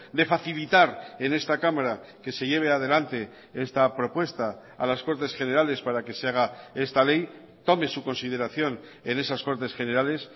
de facilitar en esta cámara que se lleve adelante esta propuesta a las cortes generales para que se haga esta ley tome su consideración en esas cortes generales